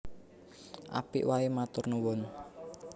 Apik waé matur nuwun